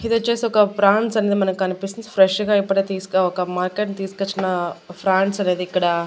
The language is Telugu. ఇది వచ్చేసి ఒక ఫ్రాన్స్ అనేది మనకి కనిపిస్తుంది ఫ్రెష్ గా ఇప్పుడే తీసి ఒక మార్కెట్ తీసుకొచ్చిన ఫ్రాన్స్ అనేది ఇక్కడ.